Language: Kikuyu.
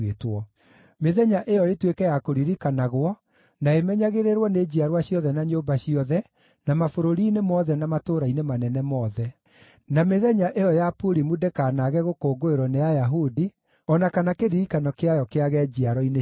Mĩthenya ĩyo ĩtuĩke ya kũririkanagwo na ĩmenyagĩrĩrwo nĩ njiarwa ciothe na nyũmba ciothe, na mabũrũri-inĩ mothe na matũũra-inĩ manene mothe. Na mĩthenya ĩyo ya Purimu ndĩkanaage gũkũngũĩrwo nĩ Ayahudi, o na kana kĩririkano kĩayo kĩage njiaro-inĩ ciao.